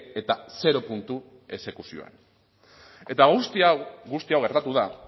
eta zero puntu exekuzioan eta guzti hau guzti hau gertatu da